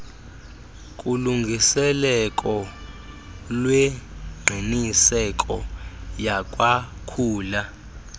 kulungiseleko lwengqiniseko yakwakhula